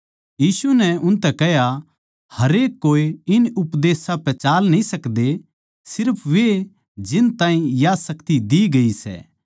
यीशु नै उनतै कह्या हरेक कोए इन उपदेशां पै चाल न्ही सकदे सिर्फ वे जिन ताहीं या शक्ति देई गई सै